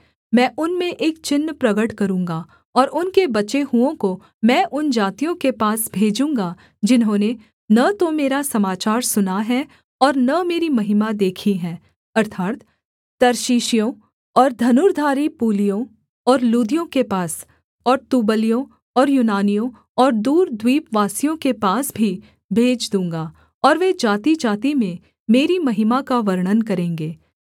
मैं उनमें एक चिन्ह प्रगट करूँगा और उनके बचे हुओं को मैं उन जातियों के पास भेजूँगा जिन्होंने न तो मेरा समाचार सुना है और न मेरी महिमा देखी है अर्थात् तर्शीशियों और धनुर्धारी पूलियों और लूदियों के पास और तुबलियों और यूनानियों और दूर द्वीपवासियों के पास भी भेज दूँगा और वे जातिजाति में मेरी महिमा का वर्णन करेंगे